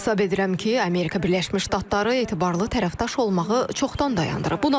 Hesab edirəm ki, Amerika Birləşmiş Ştatları etibarlı tərəfdaş olmağı çoxdan dayandırıb.